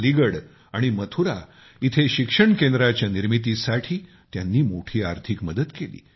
अलीगड आणि मथुरा इथे शिक्षण केंद्राच्या निर्मितीसाठी त्यांनी मोठी आर्थिक मदत केली